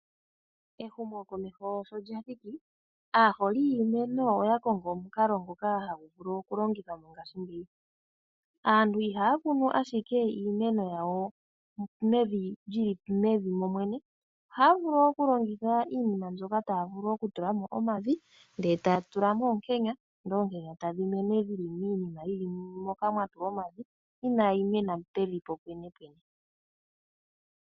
Ehumokomeko sho lya thiki, aaholi yiimeno oya kongo omukalo ngoka hagu vulu okulongithwa mongashingeyi. Aantu ihaya kunu ashike iimeno yawo mevi momwene, ohaya vulu okulongitha iinima mbyoka taya vulu okutula mo omavi ndele taya tula mo oonkenya ndele oonkenya tadhi mene dhi li miinima yi li moka mwa tulwa omavi inaayi mena pevi popwenepwene.